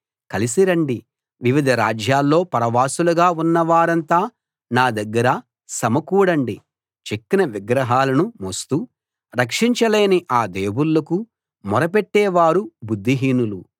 కలిసి రండి వివిధ రాజ్యాల్లో పరవాసులుగా ఉన్నవారంతా నా దగ్గర సమకూడండి చెక్కిన విగ్రహాలను మోస్తూ రక్షించలేని ఆ దేవుళ్ళకు మొరపెట్టేవారు బుద్ధిహీనులు